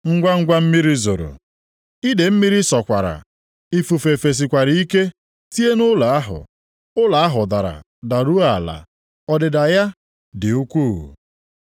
Ngwangwa mmiri zoro, idee mmiri sọkwara, ifufe fesikwara ike tie nʼụlọ ahụ, ụlọ ahụ dara daruo ala. Ọdịda ya dị ukwuu.”